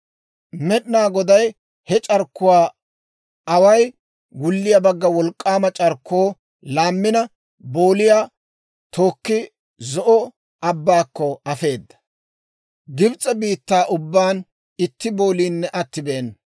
Med'inaa Goday he c'arkkuwaa away wulliyaa bagga wolk'k'aama c'arkkoo laammina booliyaa tookki, Zo'o Abbaakko afeedda. Gibs'e biittaa ubbaan itti booliinne attibeena.